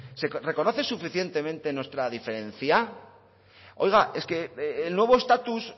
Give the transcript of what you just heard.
se reconoce suficientemente nuestra diferencia oiga es que el nuevo estatus